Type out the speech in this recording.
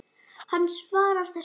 Hann svarar þessu engu.